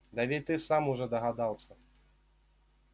да ведь ты сам уже догадался